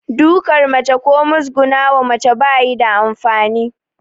Duƙar mace ko mugusguna wa mace ba yi da amfani